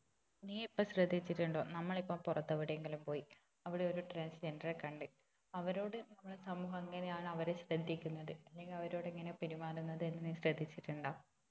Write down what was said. നീ ഇപ്പൊ ശ്രദ്ധിച്ചിട്ടുണ്ടോ നമ്മൾ ഇപ്പൊ പുറത്ത് എവിടെയെങ്കിലും പോയി അവിടെ ഒരു transgender റെ കണ്ട് അവരോട് നമ്മളെ സമൂഹം എങ്ങനെയാണ് അവരെ ശ്രദ്ധിക്കുന്നത് അല്ലങ്കില് അവരോട് എങ്ങനെയാ പെരുമാറുന്നത് എന്ന് നീ ശ്രദ്ധിച്ചിട്ടുണ്ടോ